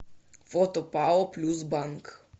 фото пао плюс банк